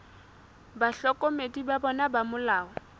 bahlokomedi ba bona ba molao